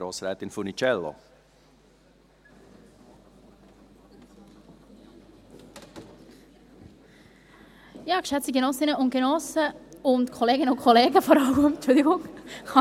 Geschätzte Genossinnen und Genossen … und vor allem Kolleginnen und Kollegen, Entschuldigung.